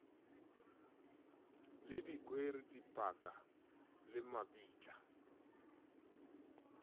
le dikwere dipaka le mabitla